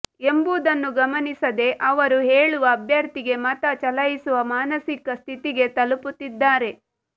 ಎಂಬುದನ್ನು ಗಮನಿಸದೆ ಅವರು ಹೇಳುವ ಅಭ್ಯರ್ಥಿಗೆ ಮತ ಚಲಾಯಿಸುವ ಮಾನಸಿಕ ಸ್ಥಿತಿಗೆ ತಲುಪುತ್ತಿದ್ದಾರೆ